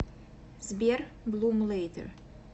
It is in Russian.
сбер блум лэйтер